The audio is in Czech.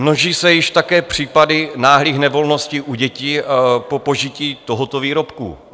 Množí se již také případy náhlých nevolností u dětí po požití tohoto výrobku.